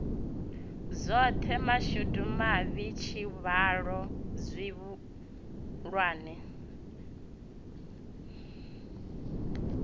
zwoṱhe mashudu mavhi tshivhalo tshihulwane